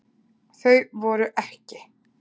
Þau voru EKKI.